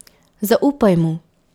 Zaupaj mu.